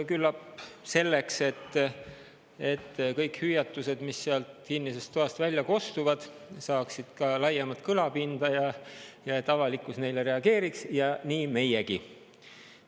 Küllap selleks, et kõik hüüatused, mis sealt kinnisest toast välja kostuvad, saaksid ka laiemat kõlapinda ja et avalikkus neile reageeriks, ja nii meiegi.